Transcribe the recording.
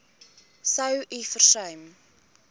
sou u versuim